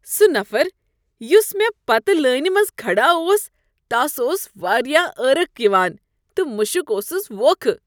سُہ نفر یُس مےٚ پتہٕ لٲنہ منٛز کھڑا اوس، تس اوس واریاہ عرق یوان تہٕ مشک اوسس ووکھٕ۔